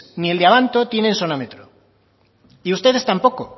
ni el de abanto tienen sonómetro y ustedes tampoco